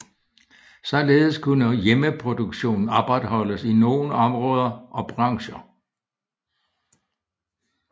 Således kunne hjemmeproduktionen opretholdes i nogle områder og brancher